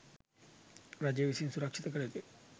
රජය විසින් සුරක්ෂිත කළ යුතුයි.